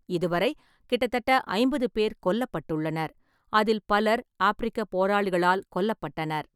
இதுவரை கிட்டத்தட்ட ஐம்பது பேர் கொல்லப்பட்டுள்ளனர், அதில் பலர் ஆப்பிரிக்கப் போராளிகளால் கொல்லப்பட்டனர்.